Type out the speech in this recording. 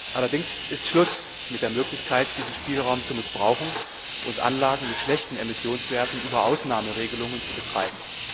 Allerdings ist Schluss mit der Möglichkeit, diesen Spielraum zu missbrauchen und Anlagen mit schlechten Emissionswerten über Ausnahmeregelungen zu betreiben.